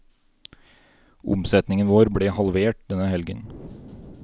Omsetningen vår ble halvert denne helgen.